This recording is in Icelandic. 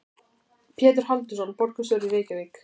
Pétur Halldórsson, borgarstjóri í Reykjavík.